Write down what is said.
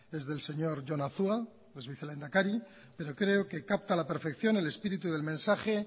es del señor jon azua ex vicelehendakari pero creo que capta la perfección el espíritu del mensaje